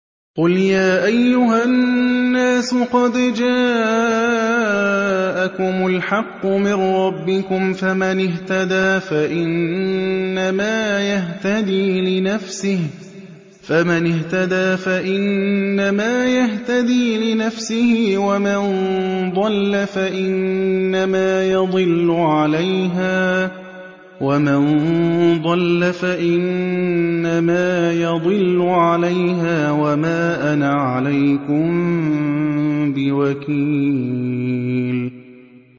قُلْ يَا أَيُّهَا النَّاسُ قَدْ جَاءَكُمُ الْحَقُّ مِن رَّبِّكُمْ ۖ فَمَنِ اهْتَدَىٰ فَإِنَّمَا يَهْتَدِي لِنَفْسِهِ ۖ وَمَن ضَلَّ فَإِنَّمَا يَضِلُّ عَلَيْهَا ۖ وَمَا أَنَا عَلَيْكُم بِوَكِيلٍ